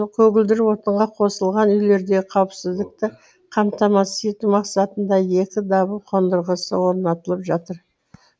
көгілдір отынға қосылған үйлердегі қауіпсіздікті қамтамасыз ету мақсатында екі дабыл қондырғысы орнатылып жатыр